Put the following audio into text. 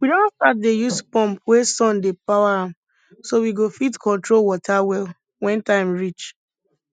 we don start dey use pump wey sun dey power am so we go fit control water well when time reach